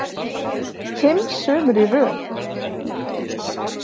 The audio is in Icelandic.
Fimm sumur í röð.